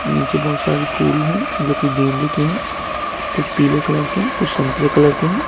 नीचे बहुत सारे फूल है जोकि गेंदे के हैं कुछ पीले कलर के हैं कुछ संतरे कलर के हैं।